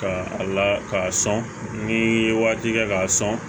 Ka a la k'a sɔn ni waati kɛ k'a sɔn